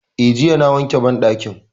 Eh, jiya na wanke banɗakin